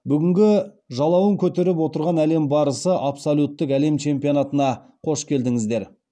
бүгінгі жалауын көтеріп отырған әлем барысы абсолюттік әлем чемпионатына қош келдіңіздер